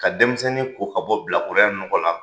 Ka denmisɛnnin ko ka bɔ bilakoroya nɔgɔ la